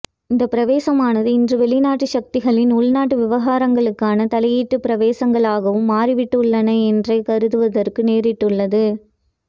இந்த பிரவேசமானது இன்று வெளிநாட்டு சக்திகளின் உள்நாட்டு விவகாரங்களுக்கான தலையீட்டு பிரவேசங்களாகவும் மாறிவிட்டுள்ளன என்றே கருதுவதற்கு நேரிட்டுள்ளது